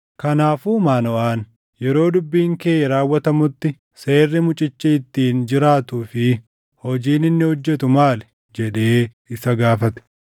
Kanaafuu Maanoʼaan, “Yeroo dubbiin kee raawwatamutti seerri mucichi ittiin jiraatuu fi hojiin inni hojjetu maali?” jedhee isa gaafate.